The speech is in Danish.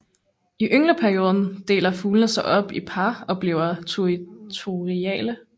I yngleperioden deler fuglene sig op i par og bliver territoriale